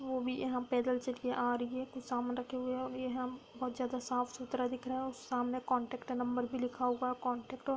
वो भी हम पैदल चल के आ रही है। कुछ सामान रखा हुआ है। और ये हम बहुत ज्यादा ही साफ-सुतरा रखा हुआ है और सामने कॉन्टैक्ट नंबर लिखा हुआ है। कॉन्टैक्ट और --